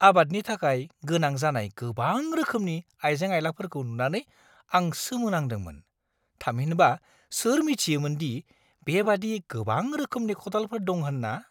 आबादनि थाखाय गोनां जानाय गोबां रोखोमनि आइजें-आइलाफोरखौ नुनानै आं सोमोनांदोंमोन। थामहिनबा, सोर मिथियोमोन दि बेबादि गोबां रोखोमनि खदालफोर दं होन्ना?